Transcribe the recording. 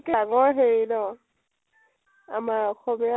আগৰ হেৰি ন । আমাৰ অসমীয়া